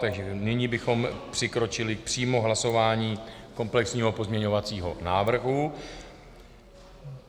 Takže nyní bychom přikročili přímo k hlasování komplexního pozměňovacího návrhu.